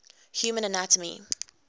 human anatomy